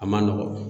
A man nɔgɔn